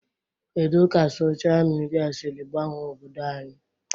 Kedụ Sochaa midia siri gbanwee obodo anyị?